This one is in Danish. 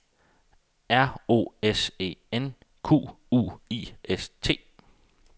R O S E N Q U I S T